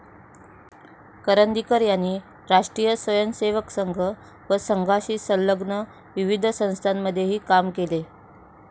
करंदीकर यांनी राष्ट्रीय स्वयंसेवक संघ व संघाशी संलग्न विविध संस्थांमध्येही काम केले.